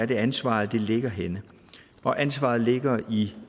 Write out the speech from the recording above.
det er ansvaret ligger henne og ansvaret ligger i